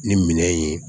Ni minɛn in ye